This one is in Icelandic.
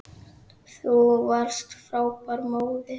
Þú varst frábær móðir.